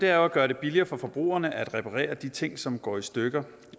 er jo at gøre det billigere for forbrugerne at reparere de ting som går i stykker